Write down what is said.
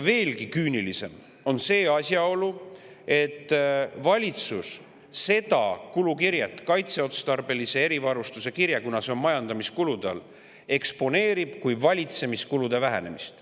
Veelgi küünilisem on asjaolu, et seda kulukirjet, kaitseotstarbelise erivarustuse kirjet, kuna see on majandamiskulude all, eksponeerib valitsus kui valitsemiskulude vähenemist.